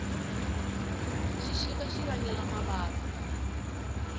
xixika xi vangela mavabyi